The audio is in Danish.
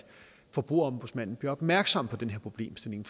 forbrugerombudsmanden bliver opmærksom på den her problemstilling